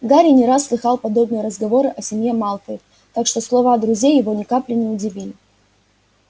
гарри не раз слыхал подобные разговоры о семье малфоев так что слова друзей его ни капли не удивили